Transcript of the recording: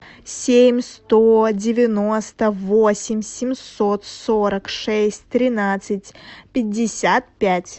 семь сто девяносто восемь семьсот сорок шесть тринадцать пятьдесят пять